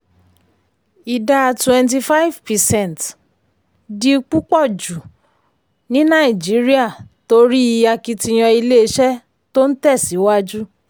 ìdá twenty five percent um di púpọ̀ jù um ní nàìjíríà um torí akitiyan ilé-iṣẹ́ tó ń tẹ̀síwájú.